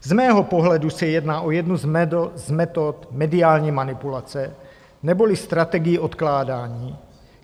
Z mého pohledu se jedná o jednu z metod mediální manipulace neboli strategii odkládání.